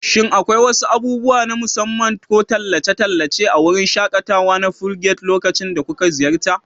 Shin akwai wasu abubuwa na musamman ko tallace-tallace a wurin shaƙatawa na Phuket lokacin da kuka ziyarta?